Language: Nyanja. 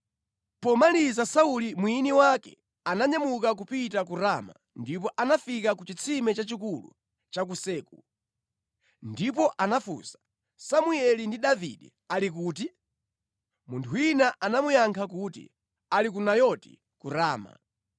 Pomaliza Sauli mwini wake ananyamuka kupita ku Rama ndipo anafika ku chitsime chachikulu cha ku Seku. Ndipo anafunsa, “Samueli ndi Davide ali kuti?” Munthu wina anamuyankha kuti, “Ali ku Nayoti ku Rama.”